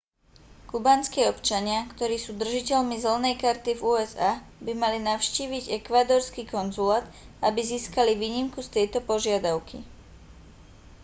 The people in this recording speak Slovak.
kubánski občania ktorí sú držiteľmi zelenej karty v usa by mali navštíviť ekvádorský konzulát aby získali výnimku z tejto požiadavky